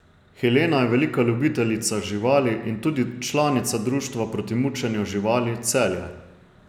Helena je velika ljubiteljica živali in tudi članica Društva proti mučenju živali Celje.